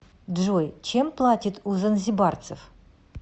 джой чем платят у занзибарцев